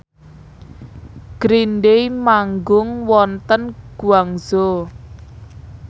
Green Day manggung wonten Guangzhou